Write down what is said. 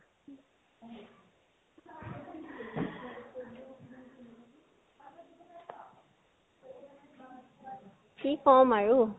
কি কম আৰু?